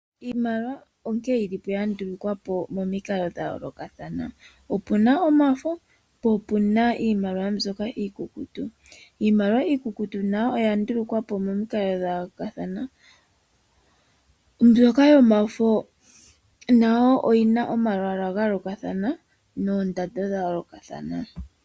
Iimaliwa onkene yili yandulukwa po momikalo dha yolokathana . Opu na omafo niimaliwa mbyoka iikukutu. Iimaliwa iikukutu nayo oya ndulukwa po momukalo dha yo olokathana, omanga mbyoka yomafo oyi na oondanda momalwaala ga yolokathana.